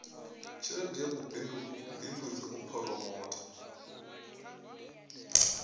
tshelede ya vhubindudzi u phoromotha